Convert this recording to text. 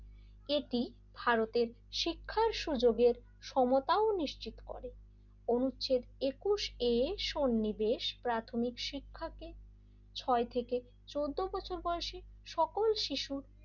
এটি ভারতের শিক্ষার সুযোগের সমতাও নিশ্চিত করে অনুচ্ছেদ একুশে সন্নিবেশ প্রাথমিক শিক্ষাকে ছয় থেকে চোদ্দ বছর বয়সে সকল শিশু,